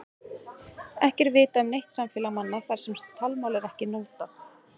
Ekki er vitað um neitt samfélag manna þar sem talmál er ekkert notað.